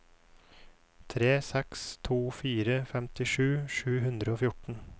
tre seks to fire femtisju sju hundre og fjorten